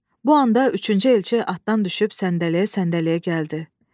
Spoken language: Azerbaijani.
Bu anda üçüncü elçi atdan düşüb səndələyə-səndələyə gəldi.